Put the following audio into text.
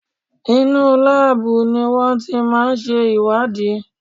Inú láàbù ni wọ́n ti máà ń ṣe ìwádìí.